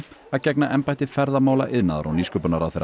að gegna embætti ferðamála iðnaðar og nýsköpunarráðherra